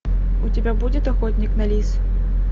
у тебя будет охотник на лис